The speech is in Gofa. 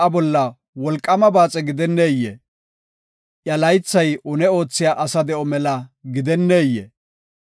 Asa de7oy sa7a bolla wolqaama baaxe gidenneyee? Iya laythay une oothiya asa de7o mela gidenneyee?